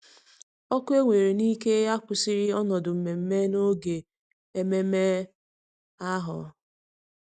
Ọkụ ewere n'ike akwụsịghị ọnọdụ mmemme n'oge ememe ahụ.